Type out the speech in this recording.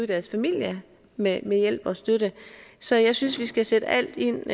deres familie med med hjælp og støtte så jeg synes vi skal sætte alt ind